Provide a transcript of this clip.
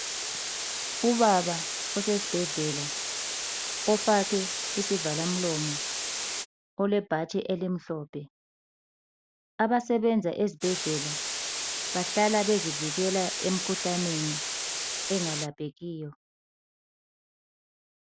Ubaba osesibhedlela ofake isivalamlomo ,olebhatshi elimhlophe. Abasebenza ezibhedlela bahlala bezivikela emikhuhlaneni engalaphekiyo.